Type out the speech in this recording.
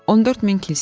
14000 kilsəsi var.